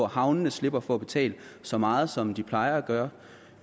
havnene slipper for at betale så meget som de plejer at gøre